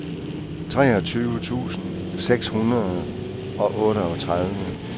treogtyve tusind seks hundrede og otteogtredive